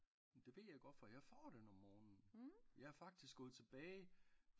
Men det ved jeg godt for jeg får den om morgen jeg er faktisk gået tilbage